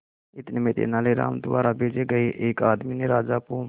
इतने में तेनालीराम द्वारा भेजे गए एक आदमी ने राजा को